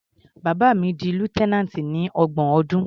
Bàbá mi di lieutenant ní ọgbọ̀n ọdún.